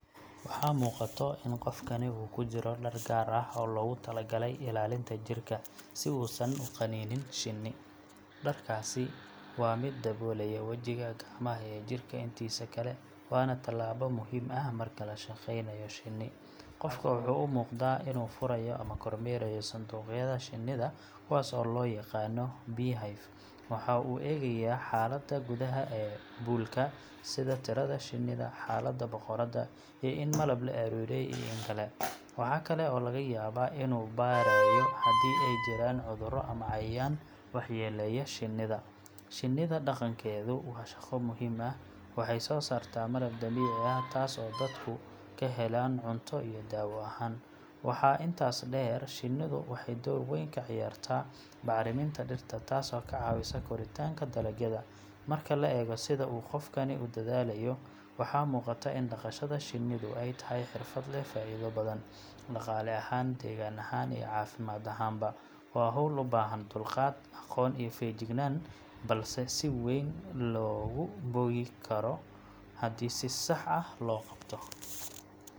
Waxaa muuqato in qofkani uu ku jiro dhar gaar ah oo loogu tala galay ilaalinta jirka, si uusan u qanin shinni. Dharkaasi waa mid daboolaya wejiga, gacmaha, iyo jirka intiisa kale, waana tallaabo muhiim ah marka la shaqeynayo shinni. Qofka wuxuu u muuqdaa inuu furayo ama kormeerayo sanduuqyada shinnida, kuwaas oo loo yaqaanno beehive. Waxa uu eegayaa xaaladda gudaha ee buulka sida tirada shinnida, xaaladda boqoradda, iyo in malab la ururiyey iyo in kale. Waxa kale oo laga yaabaa inuu baarayo haddii ay jiraan cudurro ama cayayaan waxyeeleeya shinnida. Shinnida dhaqankeedu waa shaqo muhiim ah. Waxay soo saartaa malab dabiici ah, taas oo dadku ka helaan cunto iyo dawo ahaan. Waxaa intaas dheer, shinnidu waxay door weyn ka ciyaartaa bacriminta dhirta, taasoo ka caawisa koritaanka dalagyada. Marka la eego sida uu qofkani u dadaalayo, waxaa muuqata in dhaqashada shinnidu ay tahay xirfad leh faa’iido badan – dhaqaale ahaan, deegaan ahaan, iyo caafimaad ahaanba. Waa hawl u baahan dulqaad, aqoon, iyo feejignaan, balse si weyn loogu bogi karo haddii si sax ah loo qabto.